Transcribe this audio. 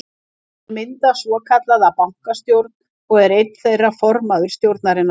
Þeir mynda svokallaða bankastjórn og er einn þeirra formaður stjórnarinnar.